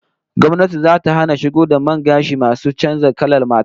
Gwamnati zata hana shigo da man gashi masu canza kalar fata